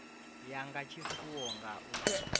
ya nga tshifuwo nga u